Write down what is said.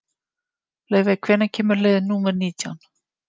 Laufey, hvenær kemur leið númer nítján?